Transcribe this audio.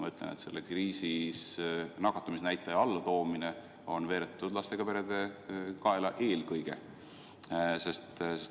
Ma ütlen, et selles kriisis on nakatumisnäitaja allatoomine veeretatud eelkõige lastega perede kaela.